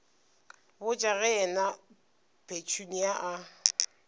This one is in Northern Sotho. botša ge yena petunia a